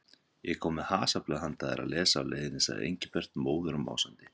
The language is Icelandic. Ég kom með hasarblöð handa þér að lesa á leiðinni sagði Engilbert móður og másandi.